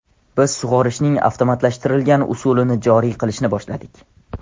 Biz sug‘orishning avtomatlashtirilgan usulini joriy qilishni boshladik.